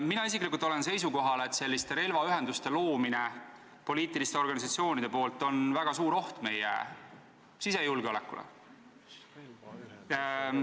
Mina isiklikult olen seisukohal, et selliste relvaühenduste loomine poliitiliste organisatsioonide poolt on väga suur oht meie sisejulgeolekule.